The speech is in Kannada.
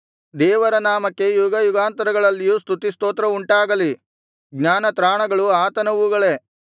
ದೇವರ ನಾಮಕ್ಕೆ ಯುಗಯುಗಾಂತರಗಳಲ್ಲಿಯೂ ಸ್ತುತಿಸ್ತೋತ್ರ ಉಂಟಾಗಲಿ ಜ್ಞಾನ ತ್ರಾಣಗಳು ಆತನವುಗಳೇ